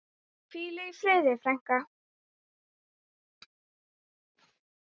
Hvíl í friði frænka mín.